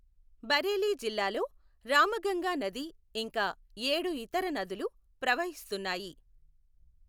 బరేలీ జీల్లాలో రామగంగా నది ఇంకా ఏడు ఇతర నదులు ప్రవహిస్తున్నాయి.